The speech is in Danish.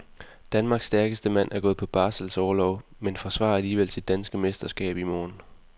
Danmarks stærkeste mand er gået på barselsorlov, men forsvarer alligevel sit danske mesterskab i morgen.